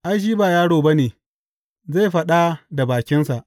Ai, shi ba yaro ba ne, zai faɗa da bakinsa.